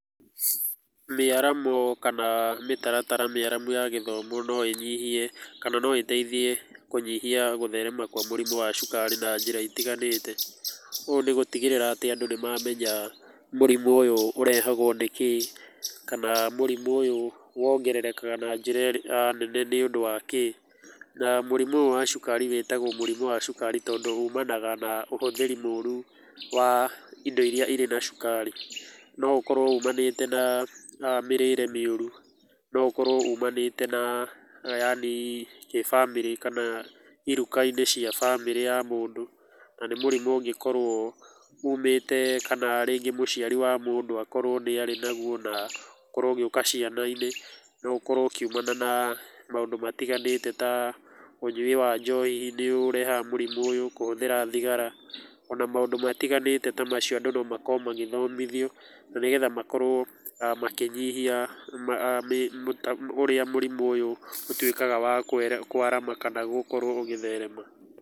Mĩaramo kana mĩtaratara mĩaramu ya gĩthomo no ĩnyihie kana no ĩteithie kũnyihia gũtherema kwa mũrimũ wa cukari na njĩra itiganĩte. Ũũ nĩ gũtigĩrĩra atĩ andũ nĩ mamenya mũrimũ ũyũ ũrehagũo nĩkĩĩ kana mũrimũ ũyũ wongererekaga na njĩra nene nĩkĩĩ. Na mũrimũ ũyũ wa cukari wĩtagwo mũrimũ wa cukari tondũ umanaga na ũhũthĩri mũru wa indo irĩa irĩ na cukari. No ũkorũo umanĩte na mĩrĩre mĩũru, no ũkorũo umanĩte na yaani kĩ famĩlĩ kana iruka-inĩ cia famĩlĩ ya mũndũ na nĩ mũrimũ ũngĩkorũo umĩte kana rĩngĩ mũciari wa mũndũ akorũo nĩ arĩ naguo na ũkorũo ũgĩũka ciana-inĩ. No ũkorũo ũkiumana na maũndũ matiganĩte ta ũnyui wa njohi nĩ ũrehaga mũrimũ ũyũ, kũhũthĩra thigara ona maũndũ matiganĩte ta macio. Andũ no makorwo magĩthomithio na nĩgetha makorwo makĩnyihia ũrĩa mũrimũ ũyũ ũtuĩkaga wa kwarama kana gũkorũo ũgĩtherema.